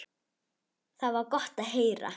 Það var gott að heyra.